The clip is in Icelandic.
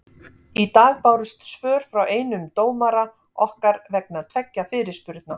Í dag bárust svör frá einum dómara okkar vegna tveggja fyrirspurna.